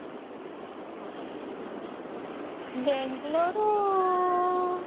Bengaluru